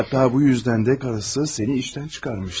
Hətta buna görə də arvadı səni işdən çıxarmışdı.